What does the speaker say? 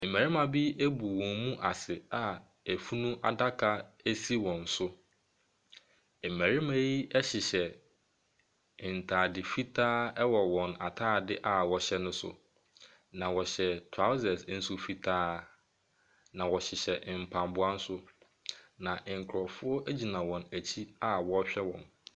Mmarima bi abu a wɔn mu ase a afunu adaka bi si wɔn so. Mmarima yi hyehyɛ ntaade fitaa wɔ wɔn ataade a wɔhyɛ ne so, na wɔhyɛ trousers nso fitaa. Na wɔhyehyɛ mpaboa nso. Na nkurɔfo gyina wɔn akyi awɔrehwɛ wɔn.